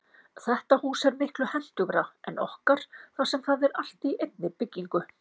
Þetta hús er miklu hentugra en okkar þar sem það er allt í einni byggingu.